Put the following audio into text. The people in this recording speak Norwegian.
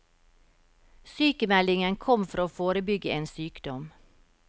Sykmeldingen kom for å forebygge en sykdom.